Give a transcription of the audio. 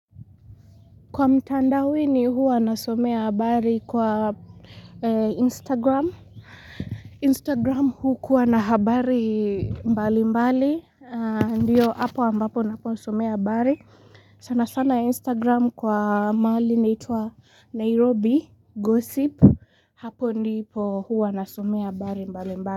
Kwa mtandaoni huwa nasomea habari kwa Instagram. Instagram hukuwa na habari mbali mbali. Ndiyo hapo ambapo naposomea habari. Sana sana Instagram kwa mahali inaitwaNairobi Gossip. Hapo ndipo huwa nasomea habari mbali mbali.